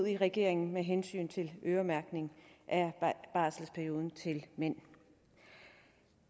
i regering med hensyn til øremærkning af barselsperioden til mænd